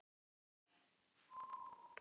Járnbrá, syngdu fyrir mig „Fyrir löngu síðan“.